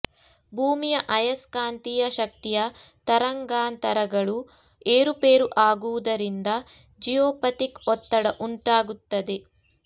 ಭೂಮಿಯ ಅಯಸ್ಕಾಂತೀಯ ಶಕ್ತಿಯ ತರಂಗಾಂತರಗಳು ಏರುಪೇರು ಆಗುವುದರಿಂದ ಜಿಯೋಪಥಿಕ್ ಒತ್ತಡ ಉಂಟಾಗುತ್ತದೆ